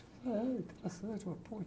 É interessante, uma ponte.